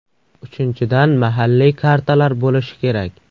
Uchinchidan, mahalliy kartalar bo‘lishi kerak .